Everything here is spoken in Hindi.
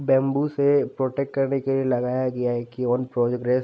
बम्बू से प्रोटेक्ट करने के लिए लगाया गया है कि ओने प्रोग्रेस --